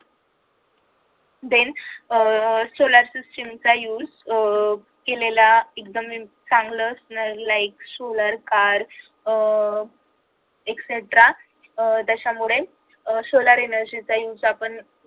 then uh solar system चा use अह केलेला एकदम चांगलं असणार like solar car uh extra uh त्याच्यामुळे अह solar energy चा use आपण